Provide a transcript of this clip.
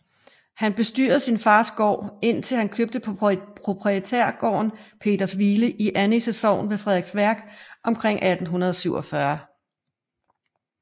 Han bestyrede sin fars gård indtil han købte proprietærgården Petershvile i Annisse Sogn ved Frederiksværk omkring 1847